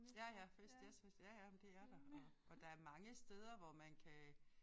Ja ja fest jazzfest ja ja men det er der og og der mange steder hvor man kan